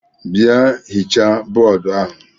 Bịa hichaa bọọdụ ahụ!